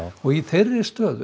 í þeirri stöðu